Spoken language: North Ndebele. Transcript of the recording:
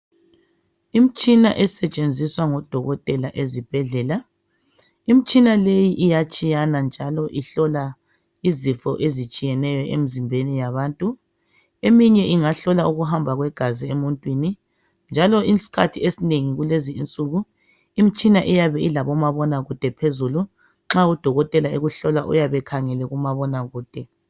Imtshina esetshenziswa ngodokotela ezibhedlela, imtshina leyi iyatshiyana njalo ihlola izifo ezitshiyeneyo emzimbeni yabantu. Eminye ingahlola ukuhamba kwegazi emuntwini. Njalo isikhathi esinengi kulezi insuku imtshina iyabe ilabomabonakude phezulu, nxa udokotela ekuhlola uyabe ekhangele kumabonakude.